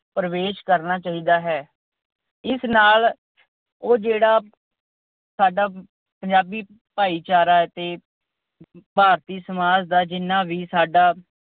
ਪ੍ਰਵੇਸ਼ ਕਰਨਾ ਚਾਹੀਦਾ ਹੈ। ਇਸ ਨਾਲ ਉਹ ਜਿਹੜਾ ਸਾਡਾ ਪੰਜਾਬੀ ਭਾਈਚਾਰਾ ਹੈ ਤੇ ਭਾਰਤੀ ਸਮਾਜ ਦਾ ਜਿੰਨਾ ਵੀ ਸਾਡੀ